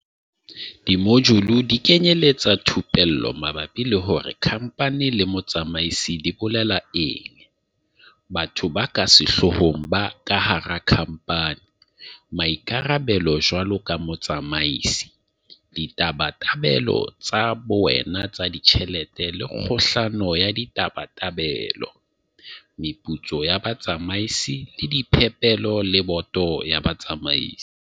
Dimojule di kenyeletsa thupello mabapi le hore kha mphani le motsamaisi di bolela eng, batho ba ka sehloohong ka hara khamphani, maikarabelo jwaloka motsamaisi, ditabatabelo tsa bowena tsa ditjhelete le kgohlano ya ditabatabelo, meputso ya batsamaisi le diphepelo le boto ya batsamaisi.